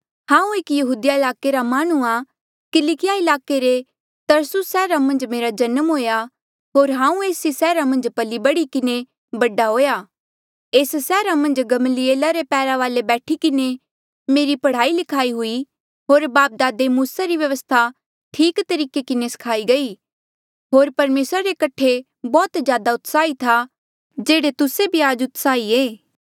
हांऊँ एक यहूदिया ईलाके रा माह्णुंआं किलकिया ईलाके रे तरसुस सैहरा मन्झ मेरा जन्म हुएया होर हांऊँ एस ई सैहरा मन्झ पली बढ़ी किन्हें बड़ा हुएया एस सैहरा मन्झ गमलीएला रे पैरा वाले बैठी किन्हें मेरी पढ़ाई लिखाई हुई होर बापदादे री मूसा री व्यवस्था ठीक तरीके किन्हें सखाई गई होर परमेसरा रे कठे बौह्त जादा उत्साही था जेह्ड़े तुस्से भी आज उत्साही ऐें